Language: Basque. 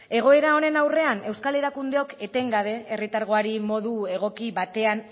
egoera honen aurrean euskal erakundeok etengabe herritargoari modu egoki batean